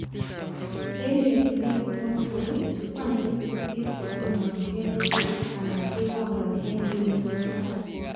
En yetunet nepo nguni chukwaainik sisit chetononjingei ko keetu anan kebangani emg mbinut nebo barak